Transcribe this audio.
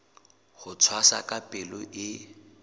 ho tshwasa ka palo e